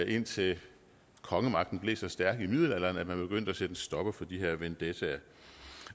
indtil kongemagten blev så stærk i middelalderen at man begyndte at sætte en stopper for de her vendettaer